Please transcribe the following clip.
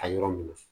A yɔrɔ min na